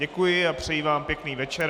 Děkuji a přeji vám pěkný večer.